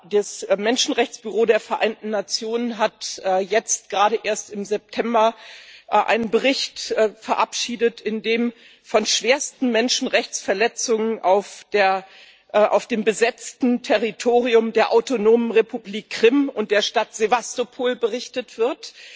Das Menschenrechtsbüro der Vereinten Nationen hat jetzt gerade erst im September einen Bericht verabschiedet, in dem von schwersten Menschenrechtsverletzungen auf dem besetzten Territorium der Autonomen Republik Krim und der Stadt Sewastopol berichtet wird.